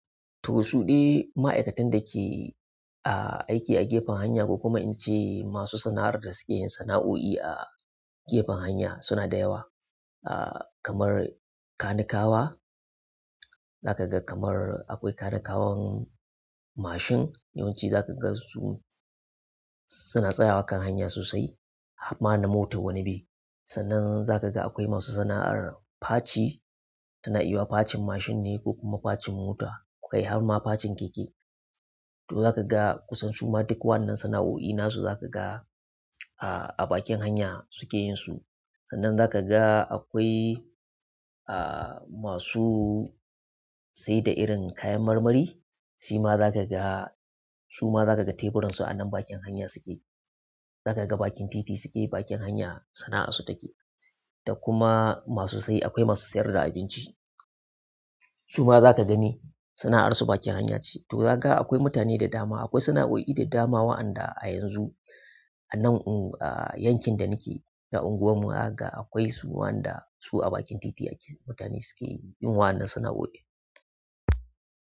To, suɗe ma'aikatan dake, a, aiki a gefen hanya ko kuma in ce masu sana'ar da suke yin sana'o'i a gefen hanya suna da yawa. Ah kamar kanikawa, zakaga kamar akwai kanikawan mashin, yawanci zakagan su. Suna tsayawa a kan hanya sosai harma na mota wani be. Sannan zakaga akwai masu sana'ar faci, tana iya yuwa facin mashin ne ko kuma facin mota, kai harma facin keke. To zakaga kusan suma duk wannan sana'o'i nasu zakaga, a, a bakin hanya suke yin su. Sannan zakaga akwai, a, masu sayar da irin kayan marmari, shima zakaga suma zakaga teburansu a nan bakin hanya suke. Zakaga bakin titi suke yi, bakin hanya sana'ansu take. Da kuma masu sai akwai masu sayar da abinci, suma zaka gani sana'arsu bakin hanya ce. To zaga akwai mutane da dama, akwai sana'o'i da dama waɗanda a yanzu a nan ungu, ah yankin da nake a unguwarmu zakaga akwai su waɗanda su a bakin titi ake mutane suke yin wannan sana'o'in.